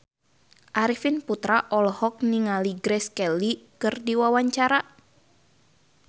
Arifin Putra olohok ningali Grace Kelly keur diwawancara